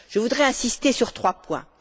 Je voudrais insister sur trois points.